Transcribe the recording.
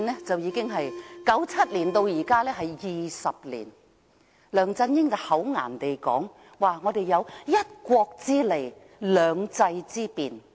自1997年至今已20年，梁振英厚顏地說我們有"一國"之利，"兩制"之便。